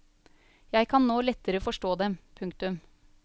Jeg kan nå lettere forstå dem. punktum